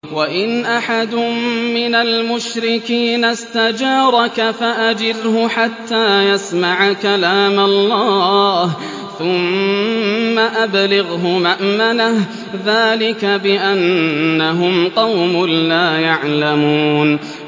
وَإِنْ أَحَدٌ مِّنَ الْمُشْرِكِينَ اسْتَجَارَكَ فَأَجِرْهُ حَتَّىٰ يَسْمَعَ كَلَامَ اللَّهِ ثُمَّ أَبْلِغْهُ مَأْمَنَهُ ۚ ذَٰلِكَ بِأَنَّهُمْ قَوْمٌ لَّا يَعْلَمُونَ